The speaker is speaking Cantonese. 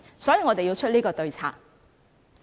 所以，我們要使出這個對策。